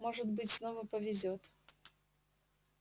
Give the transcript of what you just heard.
может быть снова повезёт